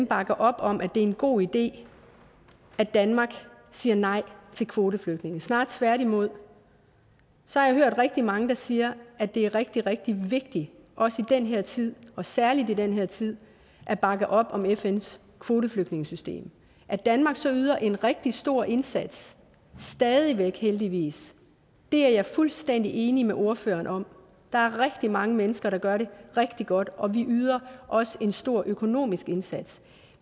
bakke op om at det er en god idé at danmark siger nej til kvoteflygtninge snarere tværtimod så har jeg hørt rigtig mange der siger at det er rigtig rigtig vigtigt også i den her tid og særligt i den her tid at bakke op om fns kvoteflygtningesystem at danmark så yder en rigtig stor indsats stadig væk heldigvis er jeg fuldstændig enig med ordføreren om der er rigtig mange mennesker der gør det rigtig godt og vi yder også en stor økonomisk indsats